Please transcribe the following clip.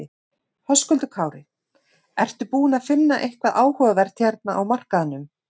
Höskuldur Kári: Ertu búinn að finna eitthvað áhugavert hérna á markaðnum?